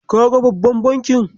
Kaga babban bankin?